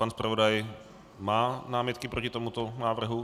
Pan zpravodaj má námitky proti tomuto návrhu?